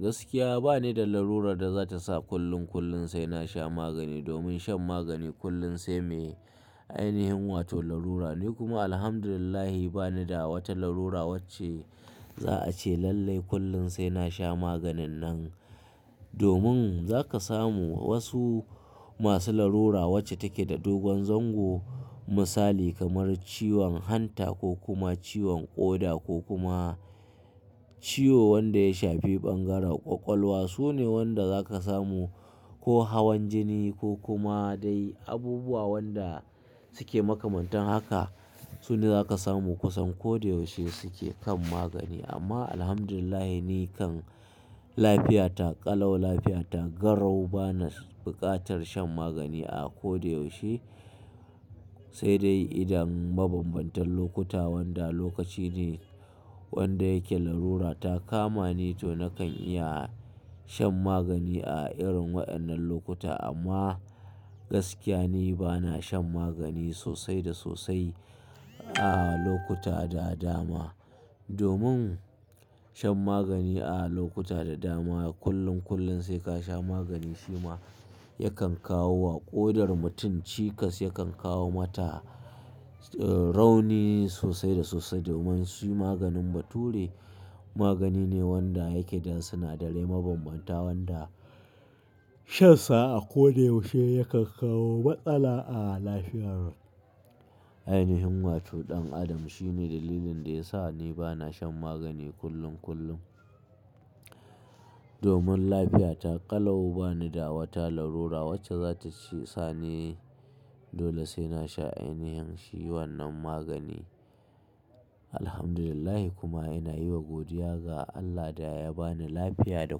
Gaskiya ba ni da larurar da za ta sa kullum kullum sai na sha magani. Domin shan magani kullum sai mai ainihin wato larura. Ni kuma Alhamdulillahi, ba ni da wata larura wacce za'a ce lallai kullum sai na sha maganin nan. Domin, za ka samu wasu masu larura wacce take da dogon zango, misali kamar ciwon hanta, ko kuma ciwon ƙoda, ko kuma ciwo wanda ya shafi bangaren ƙwaƙwalwa. Su ne wanda za ka samu, ko hawan jini, ko kuma dai abubuwa wanda suke makamantan haka. Su ne za ka samu kusan ko da yaushe suke kan magani. Amma Alhamdulillahi ni kan lafiyata ƙalau, lafiyata garrau, ba na buƙatar shan magani a ko da yaushe. Sai dai idan mabambantan lokuta wanda lokaci ne wanda yake larura ta kama ni to nakan iya shan magani a irin waɗannan lokuta. Amma, gaskiya ni ba na shan magani sosai da sosai a lokuta da dama. Domin shan magani a lokuta da dama, kullum kullum sai ka sha magani shi ma yakan kawo wa ƙodar mutum cikas, yakan kawo mata, eh, rauni sosai da sosai. Domin, shi maganin Bature, magani ne wanda yake da sinadarai mabambanta wanda shansa a ko da yaushe yakan kawo matsala a lafiyar ainihin wato ɗan Adam. Shine dalilin da ya sa ni ba na shan magani kullum kullum. Domin lafiyata ƙalau, ba ni da wata larura wacce za ta ci, sa ni dole sai na sha ainihin shi wannan magani. Alhamdulillahi kuma ina yi wa godiya ga Allah da ya ba ni lafiya da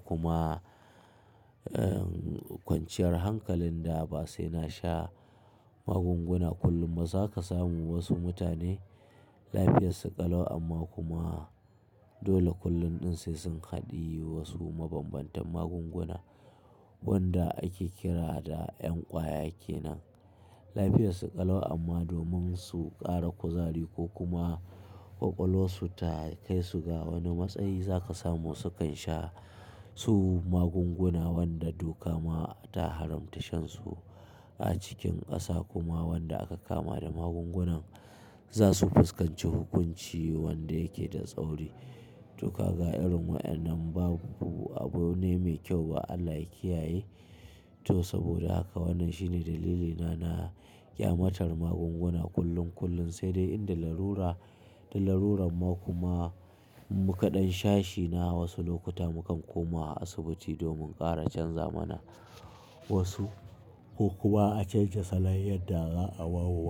kuma, eh, kwanciyar hankalin da ba sai na sha magunguna kullum. Ba za ka samu wasu mutane lafiyarsu ƙalau amma kuma dole kullum ɗin sai sun haɗiyi wasu mabambantan magunguna wanda ake kira da ƴan ƙwaya kenan. Lafiyarsu ƙalau amma domin su ƙara kuzari ko kuma ƙwaƙwalwarsu ta kai su ga wani matsayi, za ka samu su kan sha su magunguna wanda doka ma ta haramta shansu a cikin ƙasa. Kuma wanda aka kama da magungunan, za su fuskanci hukunci wanda yake da tsauri. To kaga irin waƴannan babu, abu ne mai kyau ba Allah ya kiyaye. To, saboda haka, wannan shine dalilina na ƙyamatar magunguna kullum kullum, sai dai in da larura, da larurar ma kuma in mu kaɗan shashi na wasu lokuta mu kan koma asibiti domin ƙara canza mana wasu, ko kuma a canja salon yadda za a wawowa.